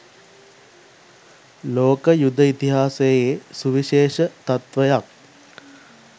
ලෝක යුධ ඉතිහාසයේ සුවිශේෂ තත්වයක්